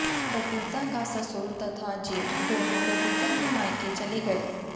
बबीता का ससुर तथा जेठ दोनों बबीता के मायके चले गये